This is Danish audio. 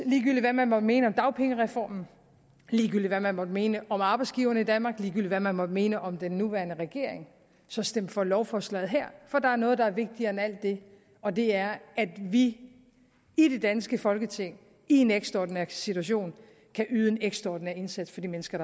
ligegyldigt hvad man måtte mene om dagpengereformen ligegyldigt hvad man måtte mene om arbejdsgiverne i danmark ligegyldigt hvad man måtte mene om den nuværende regering så stem for lovforslaget her for der er noget der er vigtigere end alt det og det er at vi i det danske folketing i en ekstraordinær situation kan yde en ekstraordinær indsats for de mennesker